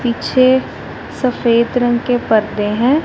पीछे सफेद रंग के परदे हैं।